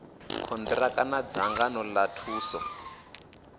konṱiraka na dzangano ḽa thuso